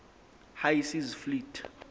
high seas fleet